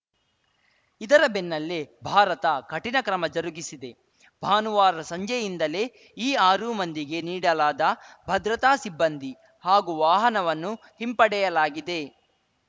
ಇದರ ಬೆನ್ನಲ್ಲೇ ಭಾರತ ಕಠಿಣ ಕ್ರಮ ಜರುಗಿಸಿದೆ ಭಾನುವಾರ ಸಂಜೆಯಿಂದಲೇ ಈ ಆರೂ ಮಂದಿಗೆ ನೀಡಲಾದ ಭದ್ರತಾ ಸಿಬ್ಬಂದಿ ಹಾಗೂ ವಾಹನವನ್ನು ಹಿಂಪಡೆಯಲಾಗಿದೆ